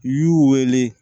I y'u wele